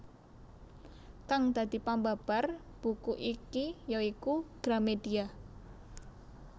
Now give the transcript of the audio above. Kang dadi pambabar buku iki ya iku Gramedia